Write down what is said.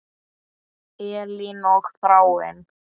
Elín og Þráinn.